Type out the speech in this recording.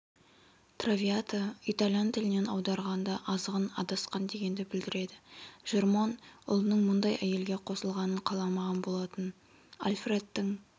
травиата итальян тілінен аударғанда азғын адасқан дегенді білдіреді жермон ұлының мұндай әйелге қосылғанын қаламаған болатын альфредтің